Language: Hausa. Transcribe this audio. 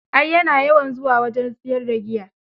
Ai ya na yawan zuwa wajen siyar da giya